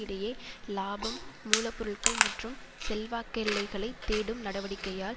இடையே இலாபம் மூல பொருள்கள் மற்றும் செல்வாக்கெல்லைகளைத் தேடும் நடவடிக்கையால்